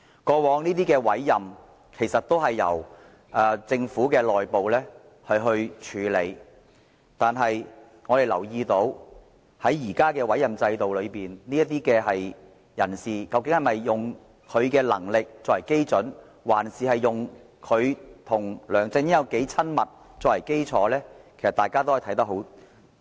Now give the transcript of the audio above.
過去，這些委任也由政府內部處理，但我們留意到現時的委任制度下，這些人事任命究竟是以他們的能力作準，還是以他們與梁振英的親密程度為基礎，這點大家可以清楚看到。